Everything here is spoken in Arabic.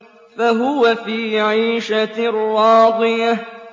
فَهُوَ فِي عِيشَةٍ رَّاضِيَةٍ